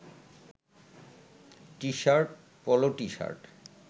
T-shirt, polo T-shirt